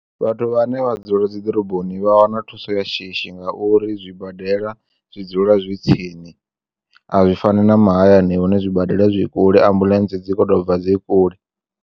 Vhathu vhane vha dzula dzi ḓoroboni vha wana thuso ya shishi ngauri zwibadela zwi dzula zwi tsini a zwi fani na mahayani hune zwi badela zwi kule ambulentsi dzi kho to bva dzi kule.